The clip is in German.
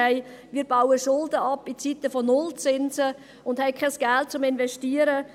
Aber wir bauen jetzt Schulden ab in Zeiten von null Zinsen und haben gleichzeitig kein Geld, um zu investieren.